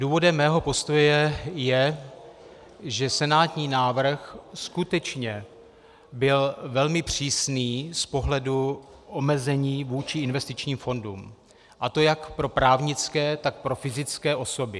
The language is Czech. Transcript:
Důvodem mého postoje je, že senátní návrh skutečně byl velmi přísný z pohledu omezení vůči investičním fondům, a to jak pro právnické, tak pro fyzické osoby.